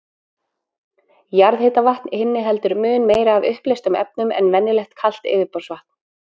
Jarðhitavatn inniheldur mun meira af uppleystum efnum en venjulegt kalt yfirborðsvatn.